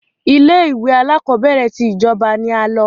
Ilé-ìwé alákọọ́bẹ̀rẹ̀ ti ìjọba ni a lọ.